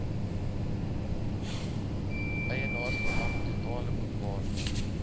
eienaarsbelang totale boekwaarde